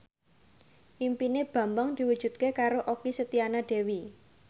impine Bambang diwujudke karo Okky Setiana Dewi